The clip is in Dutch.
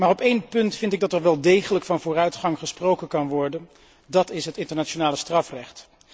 Maar op één punt vind ik dat er wel degelijk van vooruitgang gesproken kan worden, dat is het internationale strafrecht.